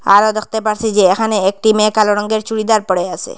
আরও দেখতে পারছি যে এখানে একটি মেয়ে কালো রঙ্গের চুড়িদার পরে আসে।